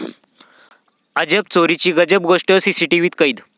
अजब चोरीची गजब गोष्ट सीसीटीव्हीत कैद